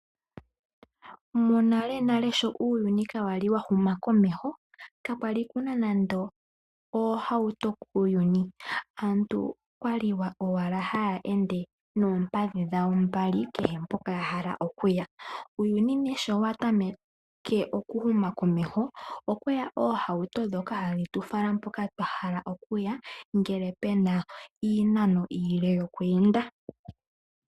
Monanale sho uuyuni kwakwali wa huma komeho kakwali kuna nande oohauto kuuyuni aantu okwali owala haa ende noompadhi dhawo mbali kehe mpoka ya hala okuya uuyuni nee sho wa tameke okuhuma komeho okweya oohauto dhoka hadhi tu fala mpoka twa hala okuya ngele pena iinano iile yokweeenda.